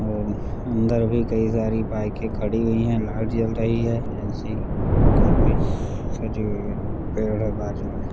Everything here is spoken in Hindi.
और अंदर भी कई सारी बाईके खड़ी हुई है लाईट जल रही है एसी काफी सजी हुयी है पेड़ है बाजू में --